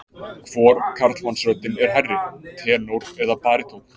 Hvor karlmannsröddin er hærri, tenór eða barítónn?